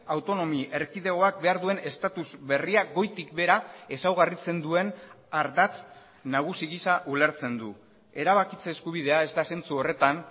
autonomi erkidegoak behar duen estatus berria goitik behera ezaugarritzen duen ardatz nagusi gisa ulertzen du erabakitze eskubidea ez da zentzu horretan